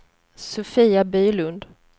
Sofia Bylund